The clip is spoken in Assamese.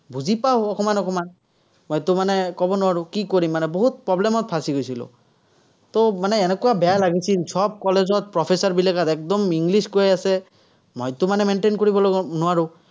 বুজি পাঁও, অকণমান অকণমান। মইতো মানে ক'ব নোৱাৰো, কি কৰিম মানে, বহুত problem ত ফচি গৈছিলো। মানে এনেকুৱা বেয়া লাগিছিল, চব কলেজত professor বিলাক একদম english কৈ আছে। মইতো মানে maintain কৰিব নোৱাৰো।